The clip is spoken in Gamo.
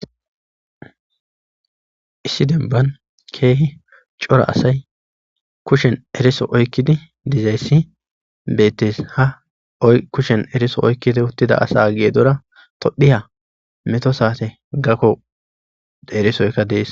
Issi denba kehi cora asay eriso kushen oykidi dizaysi betes ha kushen eriso oykidi diza asa gedora tophiya met sate gako erisoyka des